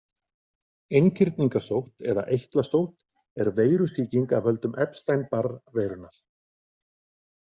Einkirningasótt eða eitlasótt er veirusýking af völdum Epstein-Barr-veirunnar.